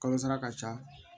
Kalosara ka ca